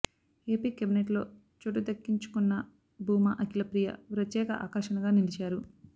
AP కేబినెట్లో చోటు దక్కించుకున్న భూమా అఖిల ప్రియ ప్రత్యేక ఆకర్షణగా నిలిచారు